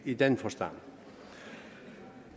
i den forstand